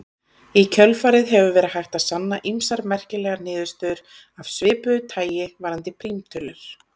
Í kjölfarið hefur verið hægt að sanna ýmsar merkilegar niðurstöður af svipuðu tagi varðandi prímtölur.